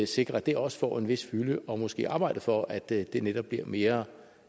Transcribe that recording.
sikre at det også får en vis fylde og måske arbejde for at det det netop bliver mere